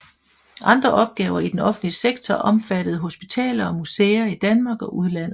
Andre opgaver I den offentlige sektor omfattede hospitaler og museer I Danmark og udlandet